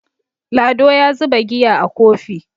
Lado ya zuba giya a Kofi